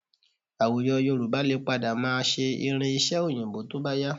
Àwùjọ Yorùbá lè padà máa ṣe irin-iṣẹ́ Òyìnbó tó bá yá